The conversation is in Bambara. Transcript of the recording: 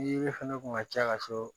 fana kun ka ca ka sɔrɔ